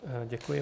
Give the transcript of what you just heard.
Děkuji.